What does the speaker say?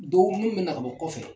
Dɔw minnu me na ka bɔ kɔfɛ.